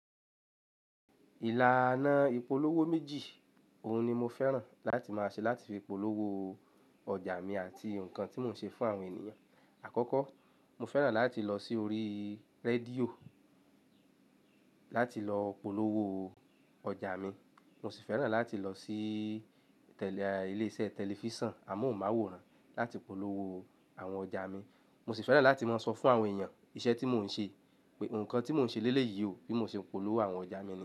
Ìlànà ìpolówó méjì, òun ni mo fẹ́ràn láti máa ṣe láti fi polówó ọjà mi àti nǹkan tí mò ń ṣe fún àwọn ènìyàn. Àkọ́kọ́, mo fẹ́ràn láti lọ sí orí rédíò láti lọ polówó ọjà mi, mo sì fẹ́ràn láti lọ sí tẹ̀lé ilé-iṣẹ́ tẹlifíṣàn, àmọ́hunmàwòrán láti polówó àwọn ọjà mi. Mo sì fẹ́ràn láti máa sọ fún àwọn èèyàn iṣẹ́ tí mò ń ṣe, nǹkan tí mò ń ṣe lélẹ̀ yii ò, bí mo ṣe ń polówó àwọn ọjà mi níyi.